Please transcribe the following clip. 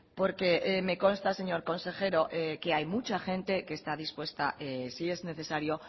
porque me consta señor consejero que hay mucha gente que está dispuesta si es necesario